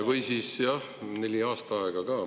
Või siis jah, neli aastaaega.